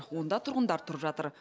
онда тұрғындар тұрып жатыр